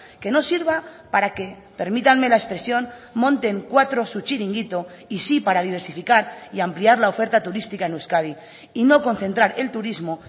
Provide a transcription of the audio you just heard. que no sirva para que permítanme la expresión monten cuatro su chiringuito y sí para diversificar y ampliar la oferta turística en euskadi y no concentrar el turismo